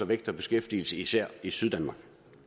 vækst og beskæftigelse især i syddanmark